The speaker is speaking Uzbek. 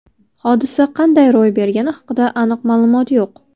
Hodisa qanday ro‘y bergani haqida aniq ma’lumot yo‘q.